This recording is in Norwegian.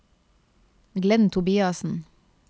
Glenn Tobiassen